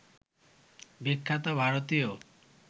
বিখ্যাত ভারতীয়